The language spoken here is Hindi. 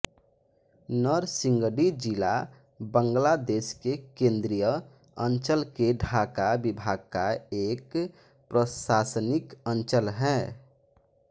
नरसिंगडी जिला बांग्लादेश के केंद्रीय अंचल के ढाका विभाग का एक प्रशासनिक अंचल है